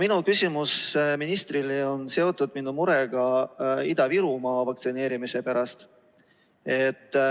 Aga küsimus ministrile on seotud minu murega Ida-Virumaa vaktsineerimise pärast.